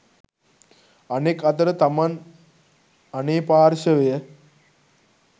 අනෙක් අතට තමන් අනේ පාර්ශවය